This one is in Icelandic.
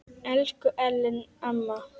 Elsku Ellen amma.